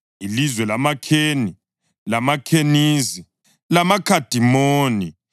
ilizwe lamaKheni, lamaKhenizi, lamaKhadimoni,